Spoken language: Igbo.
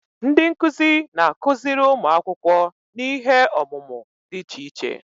Ndị nkuzi na-akụziri ụmụ akwụkwọ n'ihe ọmụmụ dị iche iche.